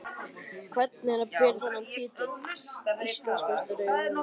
Hvernig er að bera þennan titil: Íslandsmeistari í rúningi?